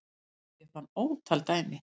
Ég fann ótal dæmi þar